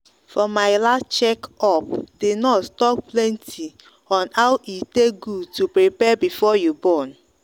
for my last check updi nurse talk plenti on how e take good to prepare before you born.